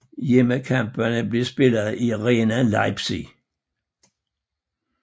Hjemmekampene bliver spillet i Arena Leipzig